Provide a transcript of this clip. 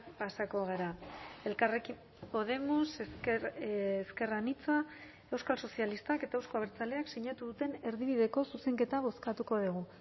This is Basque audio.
pasako gara elkarrekin podemos ezker anitza euskal sozialistak eta euzko abertzaleak sinatu duten erdibideko zuzenketa bozkatuko dugu